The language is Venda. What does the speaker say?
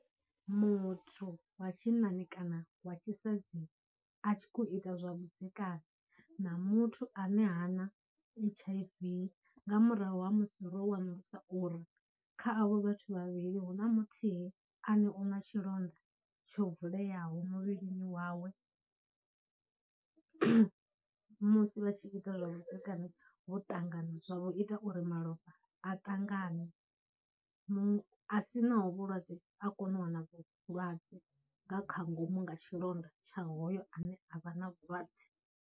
Muthu wa tshinnani kana wa tshisadzini a tshi khou ita zwa vhudzekani na muthu ane hana H_I_V nga murahu ha musi ro wanulusa uri kha avho vhathu vhavhili huna muthihi ane u na tshilonda tsho vuleaho muvhilini wawe, musi vha tshi ita zwa vhudzekani vho ṱangana zwa vho ita uri malofha a tangane, a sinaho vhulwadze a kone u wana vhulwadze nga kha ngomu nga tshilonda tsha hoyo ane a vha na vhulwadze.